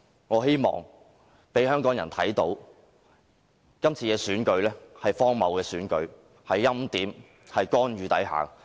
我希望香港人可以看到今次選舉是荒謬的，是在欽點、干預之下進行的選舉。